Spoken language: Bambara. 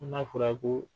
Ko n'a fɔra ko